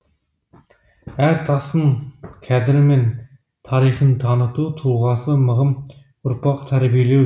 әр тастың қадірі мен тарихын таныту тұлғасы мығым ұрпақ тәрбиелеу